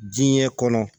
Diɲɛ kɔnɔ